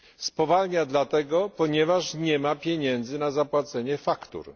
Spowalnia dlatego, ponieważ nie ma pieniędzy na zapłacenie faktur.